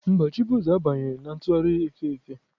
Mba, chibueze abanyeghị na ntụgharị efe efe.